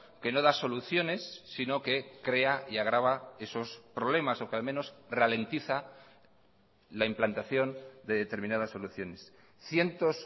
que no da soluciones sino que crea y agrava esos problemas o que al menos ralentiza la implantación de determinadas soluciones cientos